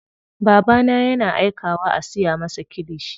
Babana yana aikawa a siya masa kilishi.